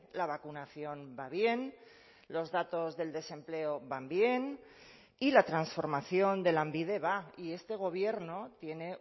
la vacunación va bien los datos del desempleo van bien y la transformación de lanbide va y este gobierno tiene